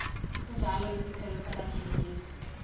sinjalo isiphelo sabathengisi